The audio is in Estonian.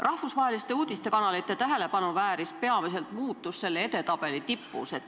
Rahvusvaheliste uudistekanalite tähelepanu vääris peamiselt muutus selle edetabeli tipus.